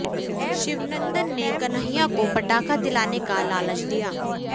शिवनंदन ने कन्हैया को पटाखा दिलाने का लालच दिया